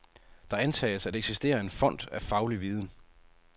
Der antages at eksistere en fond af faglig viden.